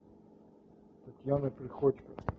татьяна приходько